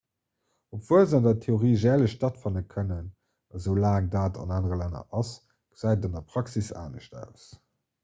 obwuel se an der theorie järlech stattfanne kënnen esoulaang dat an anere länner ass gesäit et an der praxis anescht aus